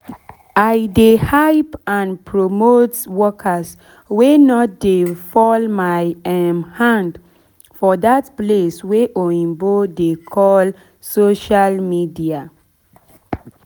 i dey hype and promote workers wey nor dey fall my um hand for dat place oyibo dey um call social media